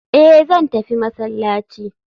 Eh zan tafi masallaci.